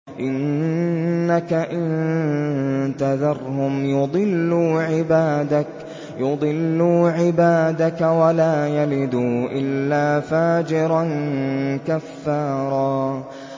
إِنَّكَ إِن تَذَرْهُمْ يُضِلُّوا عِبَادَكَ وَلَا يَلِدُوا إِلَّا فَاجِرًا كَفَّارًا